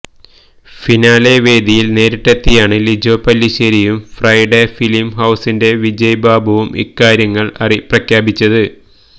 finale വേദിയില് നേരിട്ടെത്തിയാണ് ലിജോ പെല്ലിശ്ശേരിയും ഫ്രൈഡേ ഫിലിം ഹൌസിന്റെ വിജയ് ബാബുവും ഇക്കാര്യങ്ങള് പ്രഖ്യാപിച്ചത്